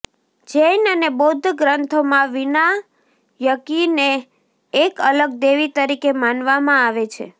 જૈન અને બૌદ્ધ ગ્રંથોમાં વિનાયકીને એક અલગ દેવી તરીકે માનવામાં આવે છે